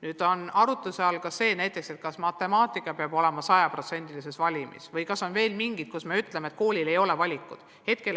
Nüüd on arutluse all see, kas matemaatika peab raudselt valimis olema ja kas on veel mingi valdkond, mille puhul koolil ei ole valikut.